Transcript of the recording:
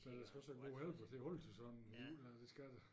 Men der skal også være god helbred til at holde til sådan jo altså det skal der